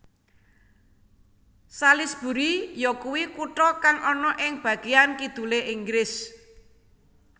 Salisbury yakuwi kutha kang ana ing bageyan kidulé Inggris